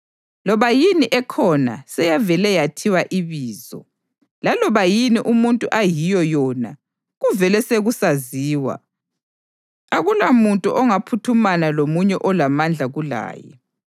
Loba yini ekhona seyavele yethiwa ibizo, laloba yini umuntu ayiyo yona kuvele sekusaziwa; akulamuntu ongaphuthumana lomunye olamandla kulaye.